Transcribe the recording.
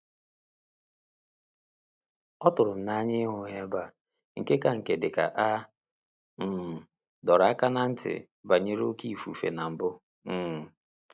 Ọ tụrụ m n'anya ịhụ ha ebe a, nke ka nke dịka a um dọrọ aka ná ntị banyere oké ifufe na mbụ um